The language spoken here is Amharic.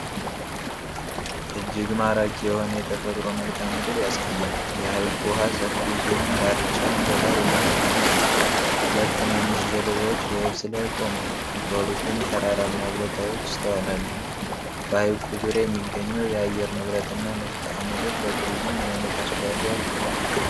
እጅግ ማራኪ የሆነ የተፈጥሮ መልክዓ ምድር ያሳያል። የሐይቁ ውሃ ሰፊ ሲሆን፣ ዳርቻውም በሳር የተሸፈነ ነው። ሁለት ትናንሽ ጀልባዎች በየብስ ላይ ቆመዋል፤ በሩቁም ተራራማ ቦታዎች ይስተዋላሉ። በሐይቁ ዙሪያ የሚገኘው የአየር ንብረትና መልክዓ ምድር ለቱሪዝም ምን ዓይነት አስተዋፅዖ አለው?